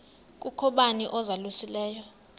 kukho bani uzalusileyo